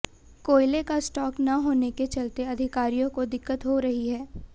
कोयले का स्टॉक न होने के चलते अधिकारियों को दिक्कत हो रही है